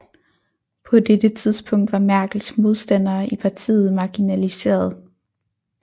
På dette tidspunkt var Merkels modstandere i partiet marginaliseret